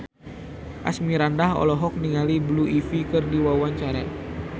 Asmirandah olohok ningali Blue Ivy keur diwawancara